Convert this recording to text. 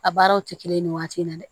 A baaraw tɛ kelen ye nin waati in na dɛ